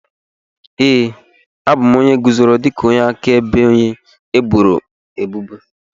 Ee, abụ m onye guzoro dịka onye akaebe onye eboro ebubo.